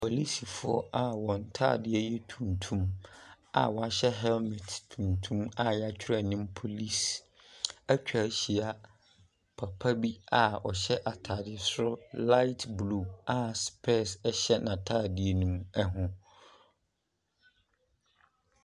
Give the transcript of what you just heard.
Policefoɔ a wɔn ntaadeɛ yɛ tuntum a wɔahyɛ helmet tuntum a yɛatwrɛ anim police atwa ahyia. Papa bi a ɔhyɛ ataare soro light blue a psɛɛs hyɛ n'ataadeɛ no mu, ɛho.